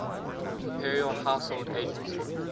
imperial household agency